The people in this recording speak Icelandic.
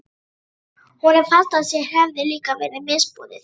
Honum fannst að sér hefði líka verið misboðið.